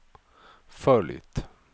följt